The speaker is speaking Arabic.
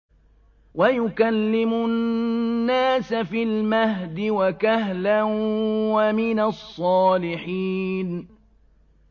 وَيُكَلِّمُ النَّاسَ فِي الْمَهْدِ وَكَهْلًا وَمِنَ الصَّالِحِينَ